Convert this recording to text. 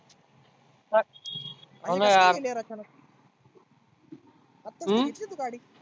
हाव ना यार अं